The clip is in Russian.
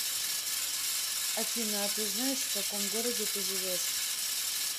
афина а ты знаешь в каком городе ты живешь